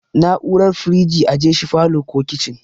Na'urar firiji ajeshi falow ko kicin